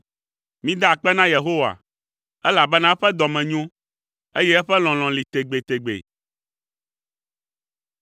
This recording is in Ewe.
Mida akpe na Yehowa, elabena eƒe dɔ me nyo, eye eƒe lɔlɔ̃ li tegbetegbe.